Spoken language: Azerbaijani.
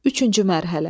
Üçüncü mərhələ.